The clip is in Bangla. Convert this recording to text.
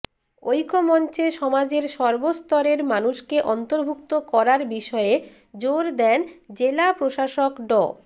ঐক্যমঞ্চে সমাজের সর্বস্তরের মানুষকে অন্তর্ভুক্ত করার বিষয়ে জোর দেন জেলা প্রশাসক ড